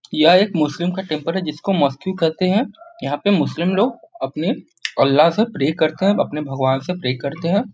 यह एक मुस्लिम का टेम्पल है जिसको मोस्कियु कहते हैं यहाँ पे मुस्लिम लोग अपने अल्लहा से प्रे करते हैं अपने भगववान से प्रे करते हैं ।